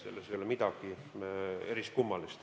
Selles ei ole midagi eriskummalist.